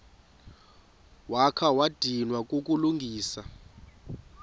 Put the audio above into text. wakha wadinwa kukulungisa